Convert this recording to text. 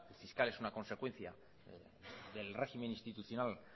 fiscal es una consecuencia del régimen institucional